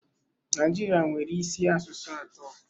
Naijiria nwere isi asụsụ atọ.